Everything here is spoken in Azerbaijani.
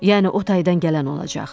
Yəni otaydan gələn olacaq.